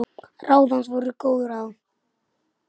Ráð hans voru góð ráð.